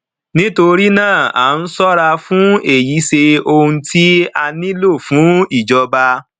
nítorí náà a ń ṣọra fún èyí ṣe ohun tí a nílò fún ìjọba